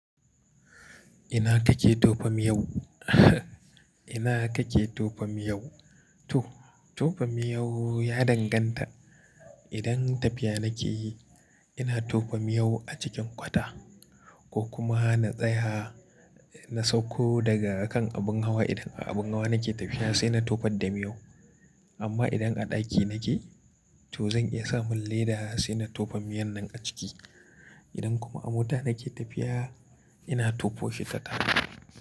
Ina kake tofa miyan ku? Ina kake tofa miyau? To tofa miyau ya danganta. Idan tafiya nake yi, ina tofa miyau a cikin kwata ko kuma na tsaya na sauko daga kan abin hawa idan a abin hawa nake tafiya sai na tofar da miyau. Amma idan a ɗaki nake, to zan iya sa mun leda sai na tofa miyan nan a ciki. Idan kuma a mota nake tafiya, ina tofo shitatta.